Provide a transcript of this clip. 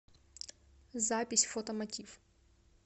запись фото мотив